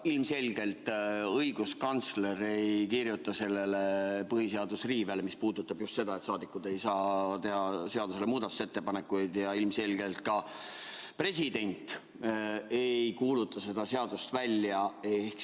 Ilmselgelt õiguskantsler ei kirjuta sellele põhiseaduse riivele alla, mis puudutab just seda, et rahvasaadikud ei saa teha seaduse kohta muudatusettepanekuid, ja ilmselgelt president ei kuuluta seda seadust välja.